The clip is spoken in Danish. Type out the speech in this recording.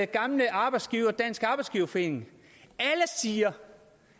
gamle arbejdsgiver dansk arbejdsgiverforening siger